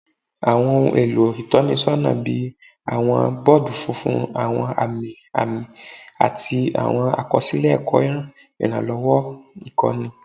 Awọn ohun elo itọnisọna bii awọn bọọdu funfun, awọn ami ami, ati awọn akọsilẹ ẹkọ iranlọwọ ikọni